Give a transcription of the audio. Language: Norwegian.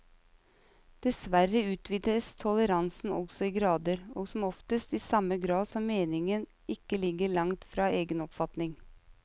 Dessverre utvises toleransen også i grader, og som oftest i samme grad som meningen ikke ligger langt fra egen oppfatning.